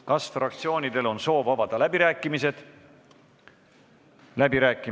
Kas fraktsioonidel on soov avada läbirääkimised?